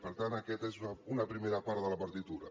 per tant aquesta és una primera part de la partitura